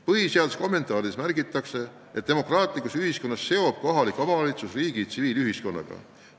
Põhiseaduse kommentaarides märgitakse, et demokraatlikus ühiskonnas seob kohalik omavalitsus riigi tsiviilühiskonnaga.